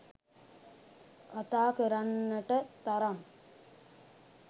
කතා කරන්නට තරම්